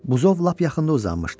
Buzov lap yaxında uzanmışdı.